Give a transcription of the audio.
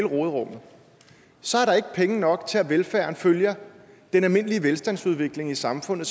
råderummet så er der ikke penge nok til at velfærden følger den almindelige velstandsudvikling i samfundet